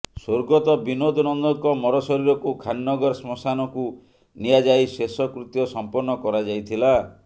ସ୍ୱର୍ଗତ ବିନୋଦ ନନ୍ଦଙ୍କ ମରଶରୀରକୁ ଖାନନଗର ଶ୍ମଶାନକୁ ନିଆଯାଇ ଶେଷକୃତ୍ୟ ସଂପନ୍ନ କରାଯାଇଥିଲା